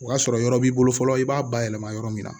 O y'a sɔrɔ yɔrɔ b'i bolo fɔlɔ i b'a bayɛlɛma yɔrɔ min na